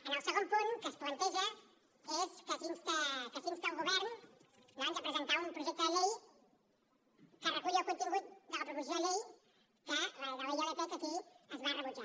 en el segon punt què es planteja és que s’insta el govern doncs a presentar un projecte de llei que reculli el contingut de la proposició de llei de la ilp que aquí es va rebutjar